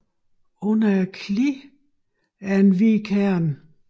Under kliddet er en hvid kerne